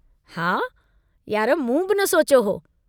हा, यार मूं बि न सोचियो हो।